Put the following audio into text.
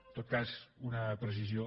en tot cas una precisió